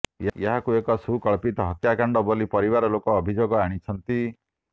ଏହାକୁ ଏକ ସୁପରିକଳ୍ପିତ ହତ୍ୟାକାଣ୍ଡ ବୋଲି ପରିବାର ଲୋକେ ଅଭିଯୋଗ ଆଣିଛନ୍ତି